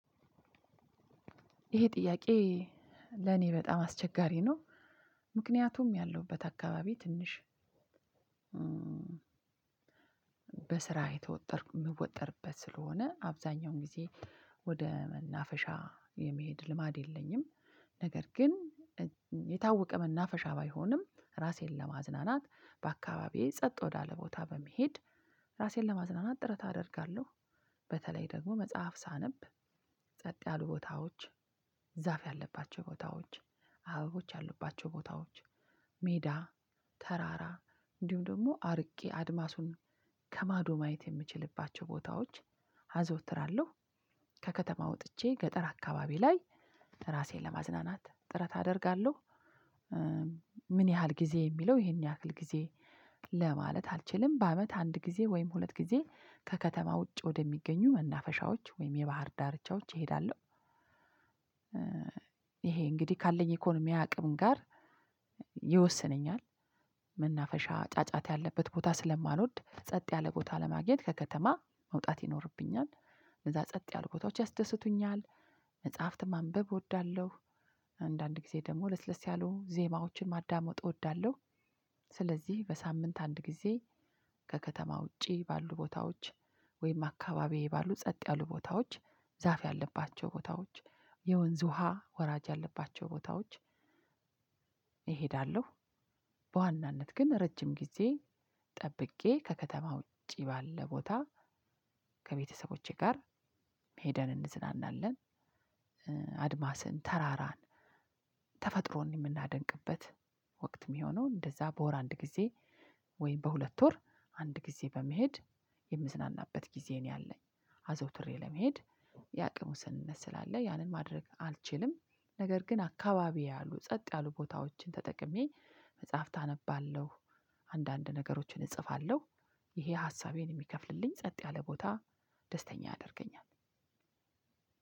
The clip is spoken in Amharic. ይሄ ጥያቄ ለኔ በጣም አስቸጋሪ ነው። ምክንያቱም ያለሁበት አካባቢ ትንሽ በስራ የተወጠርኩ የምወጠርበት ስለሆነ አብዛኛውን ጊዜ ወደ መናፈሻ የመሄድ ልማድ የለኝም ነገር ግን የታወቀ መናፈሻ ባይሆንም ራሴን ለማዝናናት በአካባቢዬ ጸጥ ወዳለ ቦታ በመሄድ ራሴን ለማዝናናት ጥረት አደርጋለሁ በተለይ ደግሞ መጽሐፍ ሳነብ ጸጥ ያሉ ቦታዎች ዛፍ ያለባቸው ቦታዎች አበቦች ያሉባቸው ቦታዎች ሜዳ ተራራ እንዲሁ ደግሞ አርቄ አድማሱን ከማዶ ማየት የምችልባቸው ቦታዎች አዘወትራለሁ ከከተማ ወጥቼ ገጠር አካባቢ ላይ ራሴን ለማዝናናት ጥረት አደርጋለሁ። ምን ያህል ጊዜ የሚለው? ይሄን ያክል ጊዜ ለማለት አልችልም በአመት አንድ ጊዜ ወይም ሁለት ጊዜ ከከተማ ውጭ ወደሚገኙ መናፈሻዎች ወይም የባህር ዳርቻዎች እሄዳለሁ። ኢሄ እንግዲህ ካለኝ ኢኮኖሚ አቅም ጋር ይወስነኛል። መናፈሻ ጫጫት ያለበት ቦታ ስለማንወድ ጸጥ ያለ ቦታ ለማግኘት ከከተማ መውጣት ይኖርብኛል። እነዛ ጸጥ ያሉ ቦታዎች ያስደስቱኛል። መጽሐፍት ማንበብ እወዳለሁ። አንዳንድ ጊዜ ደግሞ ለስለስ ያሉ ዜማዎችን ማዳመጥ እወዳለሁ። ስለዚህ በሳምንት አንድ ጊዜ ከከተማ ውጪ ባሉ ቦታዎች ወይም አካባቢዬ ባሉ ጸጥ ያሉ ቦታዎች ዛፍ ያለባቸው ቦታዎች የወንዝ ውሃ ወራጅ ያለባቸው ቦታዎች እሄዳለሁ። በዋናነት ግን ረጅም ጊዜ ጠብቄ ከከተማ ውጪ ባለ ቦታ ከቤተሰቦቼ ጋር ሄደን እንዝናናለን። አድማስን ተራራን ተፈጥሮን የምናደንቅበት ወቅት የሚሆነው እንደዛ በወር አንድ ጊዜ ወይም በሁለት ወር አንድ ጊዜ በመሄድ የምዝናናበት ጊዜ ነው። ያለኝ አዘውትሬ ለመሄድ የአቅም ውስንነት ስላለ ያንን ማድረግ አልችልም። ነገር ግን አካባቢ ያሉ ጸጥ ያሉ ቦታዎችን ተጠቅሜ መጽሐፍት አነባለሁ። አንዳንድ ነገሮችን እጽፋለሁ። ይሄ ሀሳቤን የሚከፍልልኝ ጸጥ ያለ ቦታ ደስተኛ ያደርገኛል።